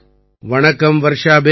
வணக்கம் வர்ஷா பேன்